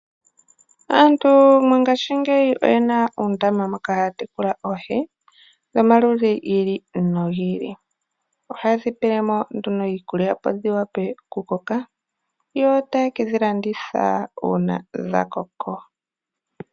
Aantu mongaashingeyi oyena uundama moka haya tekulile oohi dhomaludhi gi ili no gi ili. Ohaye dhi pele mo iikulya opo dhi vule oku koka yo ta ye kedhi landitha uuna dha koko.